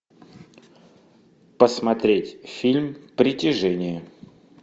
посмотреть фильм притяжение